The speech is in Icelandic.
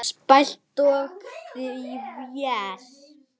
Spæld og þvæld.